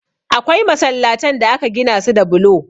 Akwai masallatan da aka gina su da bulo.